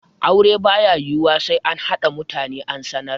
Aure ba ya yiwuwa sai an haɗa mutane an sanar.